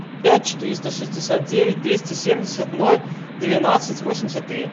пять четыреста шестьдесят девять двести семьдесят ноль двенадцать восемьдесят три